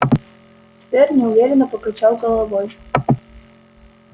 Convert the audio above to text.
твер неуверенно покачал головой